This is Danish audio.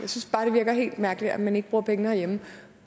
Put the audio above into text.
virker helt mærkeligt at man ikke bruger pengene herhjemme